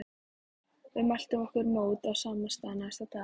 Við mæltum okkur mót á sama stað næsta dag.